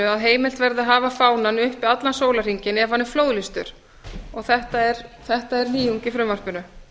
að heimilt verði að hafa fánann uppi allan sólarhringinn ef hann er flóðlýstur þetta er nýjung í frumvarpinu